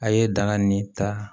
A' ye daŋaa nin ta